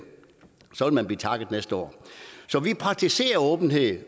man blive takket næste år så vi praktiserer åbenhed